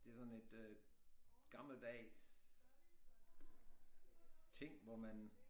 Det sådan et øh gammeldags ting hvor man